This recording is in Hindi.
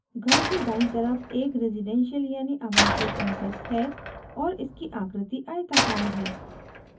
घर के दायीं तरफ एक residential यानि आवासीय complex है और इसकी आकृति आयताकार है